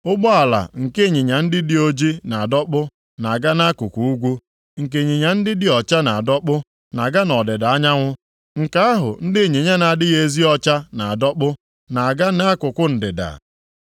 Ụgbọala nke ịnyịnya ndị dị oji na-adọkpụ na-aga nʼakụkụ ugwu. Nke ịnyịnya ndị dị ọcha na-adọkpụ na-aga nʼọdịda anyanwụ. Nke ahụ ndị ịnyịnya na-adịghị ezi ọcha na-adọkpụ na-aga nʼakụkụ ndịda.”